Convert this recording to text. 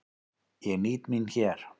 Ég nýt mín hér.